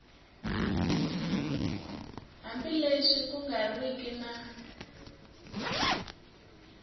hambileswi ku nga riki na